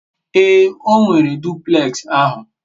ee, o nwere duplex ahu